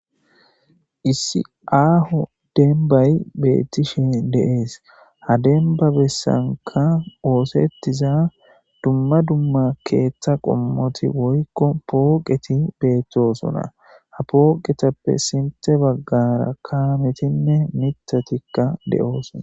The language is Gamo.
Issi aaho denbayi beettishe dees ha dembabessanka osettiza dumma dumma keetha qommoti woykko pooqeti beettosuna ha poqetappe sinte baggara kaametinne mitatikka de'sona.